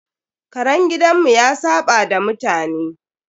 Karen gidanmu ya saɓa da mutane.